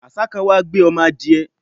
àṣá kan wá gbé ọmọ adiẹ